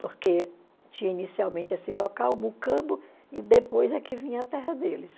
porque tinha inicialmente esse local, o Mucambo, e depois é que vinha a terra deles.